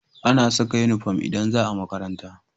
Ana Saka inufom idan zaa makaranta